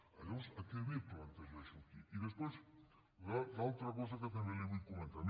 llavors a què ve plantejar això aquí i després l’altra cosa que també li vull comentar